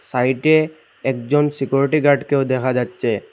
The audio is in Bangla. সাইডে একজন সিকিউরিটি গার্ড কেও দেখা যাচ্ছে।